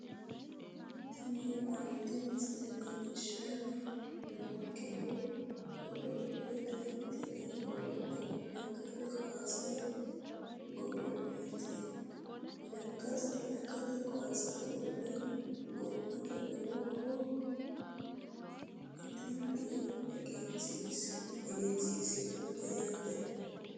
Tini aliidi misile leellishshanni noonkehu godo'lete tini godo'leno lekkate kaase godo'leeti lekkate kaase godo'le gobbate lowo horo aatenni egennantinote yaate